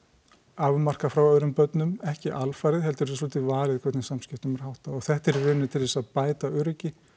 afmarkað frá öðrum börnum ekki alfarið heldur er svolítið valið hvernig samskiptum er háttað og þetta er í rauninni til þess að bæta öryggi